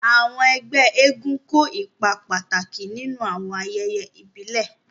Àwọn ẹ́gbẹ èègún kó ipa pàtàki ninu awọn àyẹyẹ ibile.